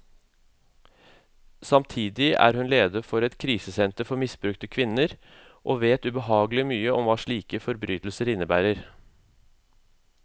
Samtidig er hun leder for et krisesenter for misbrukte kvinner, og vet ubehagelig mye om hva slike forbrytelser innebærer.